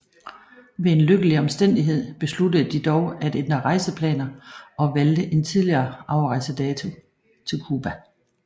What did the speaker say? Ved en lykkelig omstændighed besluttede de dog at ændre rejseplaner og valgte en tidligere afrejsedato til Cuba